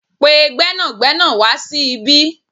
Pe gbẹ́nàgbẹ́nà wa sí ibí